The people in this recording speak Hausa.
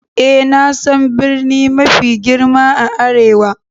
Eh, na san birni mafi girma a arewa.